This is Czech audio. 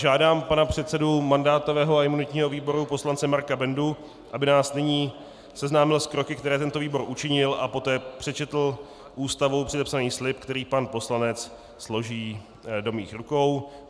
Žádám pana předsedu mandátového a imunitního výboru poslance Marka Bendu, aby nás nyní seznámil s kroky, které tento výbor učinil, a poté přečetl Ústavou předepsaný slib, který pan poslanec složí do mých rukou.